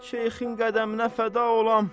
Şeyxin qədəminə fəda olam.